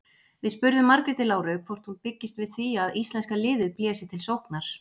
Við spurðum Margréti Láru hvort hún byggist við því að íslenska liðið blési til sóknar?